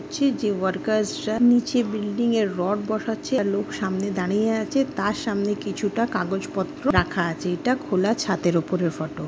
যে ওয়ার্কার্স -রা নীচে বিল্ডিং -এ রড বসাচ্ছে আর লোক সামনে দাঁড়িয়ে আছে তার সামনে কিছুটা কাগজপত্র রাখা আছে এটা খোলা ছাদের উপরের ফটো ।